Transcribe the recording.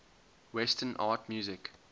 western art music